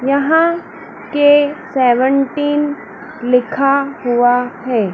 यहां के सेवंटीन लिखा हुआ है।